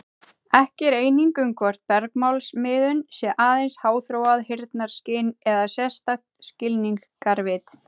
Ekki er eining um hvort bergmálsmiðun sé aðeins háþróað heyrnarskyn eða sérstakt skilningarvit.